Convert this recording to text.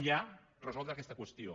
ja resoldre aquesta qüestió